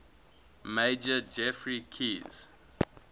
major geoffrey keyes